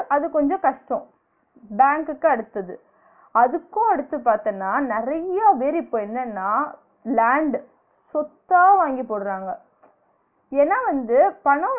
அது கொஞ்சம் கஷ்டம் பேங்க்குக்கு அடுத்தது அதுக்கும் அடுத்து பாத்தன்னா நெறைய பேர் இப்ப என்னனா land சொத்தா வாங்கி போடுறாங்க ஏன்னா வந்து பனோ